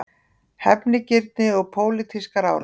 Hefnigirni og pólitískar árásir